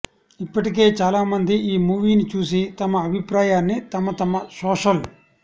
ఇప్పటికే చాలామంది ఈ మూవీ ని చూసి తమ అభిప్రాయాన్ని తమ తమ సోషల్